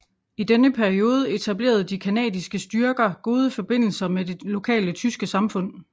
I denne periode etablerede de canadiske styrker gode forbindelser med det lokale tyske samfund